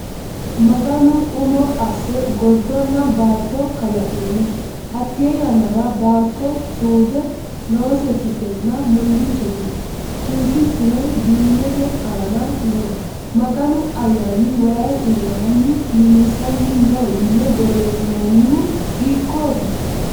Maganu umo asse gordonna baatto kalaqino. Hatte yannara, baatto suudu noosekkitenna mullichote; tunsichuno diimete aana no; Maganu Ayyaani wayi iimaanni millisanni no yiine borressinonihu hiikoti?